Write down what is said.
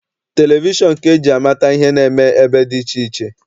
Televishọn ka eji amata ihe na-eme ebe dị iche iche.